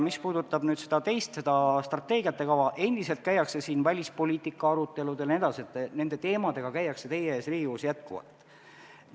Mis puudutab strateegiate kava, siis endiselt käivad siin teie ees välispoliitika arutelud jne, nende teemadega käiakse Riigikogus jätkuvalt.